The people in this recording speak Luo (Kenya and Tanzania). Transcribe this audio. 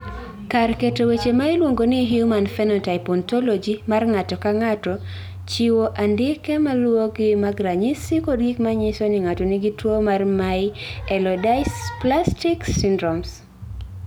Kar keto weche ma iluongo ni Human Phenotype Ontology mar ng�ato ka ng�ato chiwo andike ma luwogi mag ranyisi kod gik ma nyiso ni ng�ato nigi tuo mar Myelodysplastic syndromes.